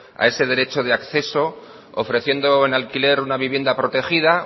a ese derecho de acceso ofreciendo en alquiler una vivienda protegida